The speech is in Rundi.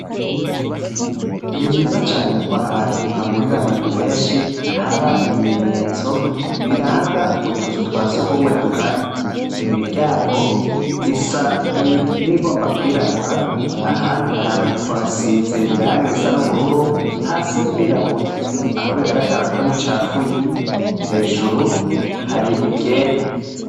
Ni vyiza cane k'ahantu hahurir'abantu benshi, hab'ibimenyetso biranga utuzu twa sugumwe duhari. Imiryango isa niyigomba kw'irabura, ahandi hasize irangi risa n'ubururu, hasi ririrabura, aho bigaragara ko ricafuye, hejuru har'iryera.